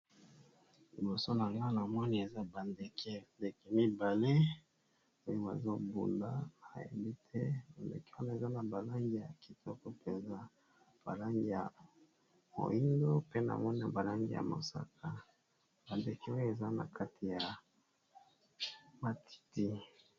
Liboso na nga na moni eza bandeke ndeke mibale moim azobunda ayeli te londeke wana eza na balangi ya kitoko mpenza balangi ya moindo pe namoi na balangi ya mosaka. bandeke oyo eza na kati ya matiti.